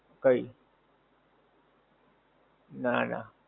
કઈ? નાં નાં.